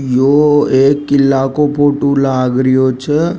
यो एक किला को फोटो लागरियो छे।